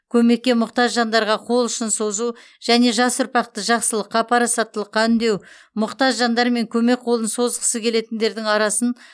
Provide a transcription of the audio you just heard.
көмекке мұқтаж жандарға қол ұшын созу және жас ұрпақты жақсылыққа парасаттылыққа үндеу мұқтаж жандар мен көмек қолын созғысы келетіндердің арасын